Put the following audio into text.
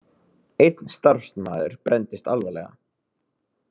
Einn starfsmaður brenndist alvarlega